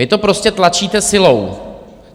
Vy to prostě tlačíte silou.